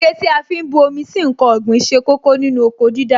Ike tí a fi ń bu omi sí ǹkan ọ̀gbìn ṣe kókó nínú oko dídá